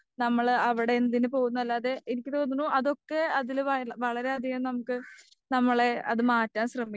നമ്മള് അവിടെ എന്തിന്‌പോകുന്നു അല്ലാതെ എനിക്ക് തോന്നുന്നു അതൊക്കെ അത് വളരെയധികം നമുക്ക് നമ്മളെ അത് മാറ്റാൻ ശ്രെമിക്കും.